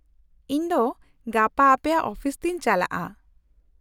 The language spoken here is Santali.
-ᱤᱧ ᱫᱚ ᱜᱟᱯᱟ ᱟᱯᱮᱭᱟᱜ ᱚᱯᱷᱤᱥ ᱛᱮᱧ ᱪᱟᱞᱟᱜᱼᱟ ᱾